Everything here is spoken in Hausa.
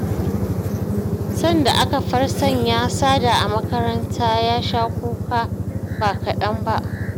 Sanda aka far sanya Sada a makaranta ya sha kuka ba kaɗan ba